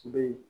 Be yen